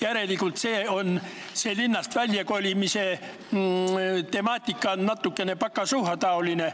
Järelikult on see linnast väljakolimise temaatika natuke pokazuhha-taoline.